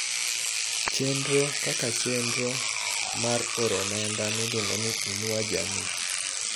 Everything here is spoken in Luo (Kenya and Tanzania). Chenro kaka chenro mar oro omenda miluongo ni "Inua Jamii